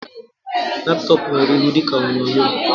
Laptop nwere ịhụ dịka onyonyo